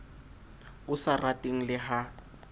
o sa rateng le ha